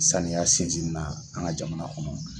Saniya sinsin ni na an ka jamana kɔnɔ